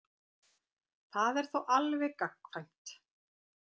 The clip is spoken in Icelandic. Það er þá alveg gagnkvæmt.